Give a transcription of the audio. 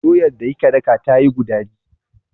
Doyar da kika daka tayi gudaji.